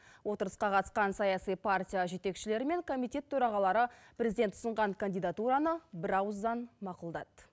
отырысқа қатысқан саяси партия жетекшілері мен комитет төрағалары президент ұсынған кандидатураны бірауыздан мақұлдады